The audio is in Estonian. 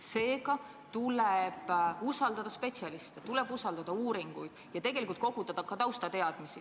Seega tuleb usaldada spetsialiste, tuleb usaldada uuringuid ja koguda ka taustateadmisi.